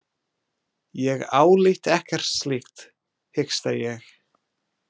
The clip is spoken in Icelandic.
Ég álít ekkert slíkt, hiksta ég.